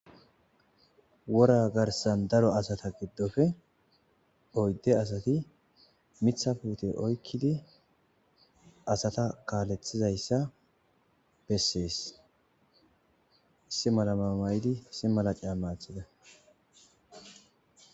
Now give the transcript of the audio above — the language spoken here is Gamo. wora garsan daro asata giddoppe oydde asati mithapute oykkidi asata kaalethizayssa bessees issi malama may7idi simalacaa maachida